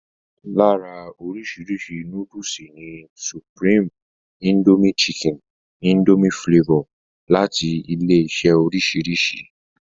Lára oríṣi núdùsù ni supreme, Indomie chicken, Indomie flavor abbl. láti ilé-iṣẹ́ oríṣiríṣi.